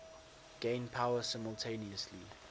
gain power simultaneously